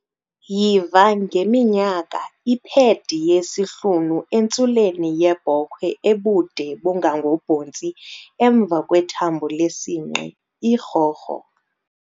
Yiva ngeminyaka iphedi yesihlunu entsuleni yebhokhwe ebude bungangobontsi emva kwethambo lesinqe, irhorho.